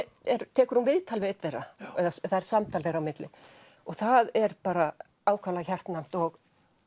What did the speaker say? tekur hún viðtal við einn þeirra eða það er samtal þeirra á milli það er ákaflega hjartnæmt og